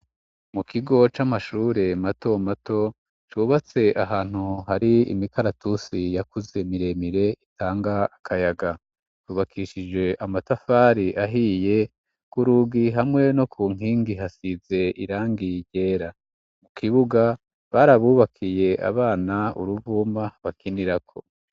Mu kigo c'amashure mato mato cubatse ahantu hari imikaratusi yakuze miremire itanga akayaga. Ubakishijwe amatafari ahiye, ku rugi hamwe no ku nkingi hasize irangi ryera. Mu kibuga barabubakiye abana uruvuma bakinirako.